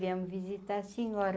Viemos visitar a senhora.